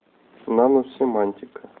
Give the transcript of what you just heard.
наносемантика